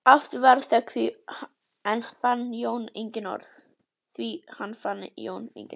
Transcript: Aftur varð þögn því enn fann Jón engin orð.